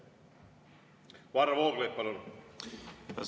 Varro Vooglaid, palun!